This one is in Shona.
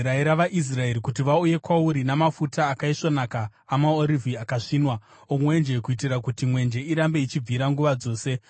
“Rayira vaIsraeri kuti vauye kwauri namafuta akaisvonaka amaorivhi akasvinwa, omwenje, kuitira kuti mwenje irambe ichibvira nguva dzose.